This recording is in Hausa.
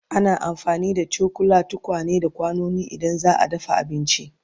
Ana amfani da cokula, tukwane, da kwanuka idan za'a dafa abinci